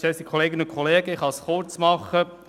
Ich kann es kurz machen.